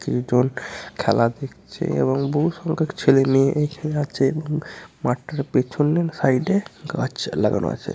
তিন জন খেলা দেখছে এবং বহু সংখ্যক ছেলে মেয়ে এখানে আছে এবং মাঠটার পেছনের সাইড এ গাছ লাগানো আছে।